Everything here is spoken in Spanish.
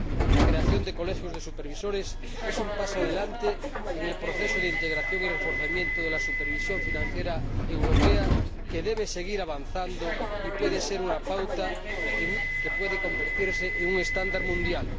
La creación de colegios de supervisores es un paso adelante en el proceso de integración y reforzamiento de la supervisión financiera europea que debe seguir avanzando y puede ser una pauta que puede convertirse en un estándar mundial.